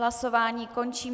Hlasování končím.